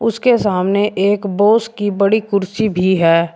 उसके सामने एक बॉस की बड़ी कुर्सी भी है।